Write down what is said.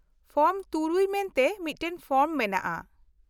- Form ᱖ ᱢᱮᱱᱛᱮ ᱢᱤᱫᱴᱟᱝ form ᱢᱮᱱᱟᱜᱼᱟ ᱾